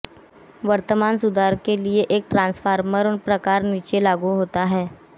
वर्तमान सुधार के लिए एक ट्रांसफॉर्मर प्रकार नीचे लागू होता है